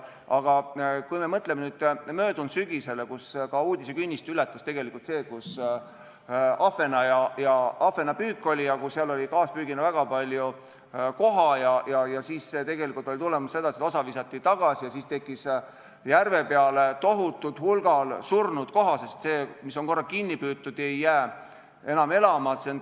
Aga me mõtleme möödunud sügisele, kui uudisekünnise ületas see, et oli ahvenapüük, seal tuli kaaspüügina väga palju koha ja tegelikult oli tulemus, et osa visati tagasi ja siis tekkis järve peale tohutul hulgal surnud koha, sest see, mis on korra kinni püütud, ei jää enam elama.